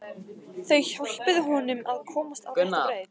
Þau hjálpuðu honum að komast á rétta braut.